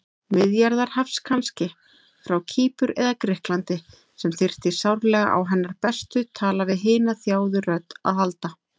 Miðjarðarhafs kannski, frá Kýpur eða Grikklandi, sem þyrfti sárlega á hennar bestu tala-við-hina-þjáðu-rödd að halda.